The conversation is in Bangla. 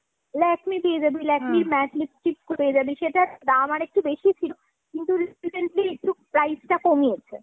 Lakme পেয়ে যাবি। matte lipstick পেয়ে যাবি। সেটার দাম আর একটু বেশিই ছিল, কিন্তু recently একটু price টা কমিয়েছে।